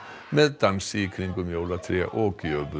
með dansi í kringum jólatré og